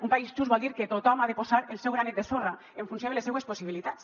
un país just vol dir que tothom ha de posar el seu granet de sorra en funció de les seues possibilitats